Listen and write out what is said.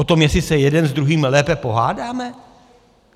O tom, jestli se jeden s druhým lépe pohádáme?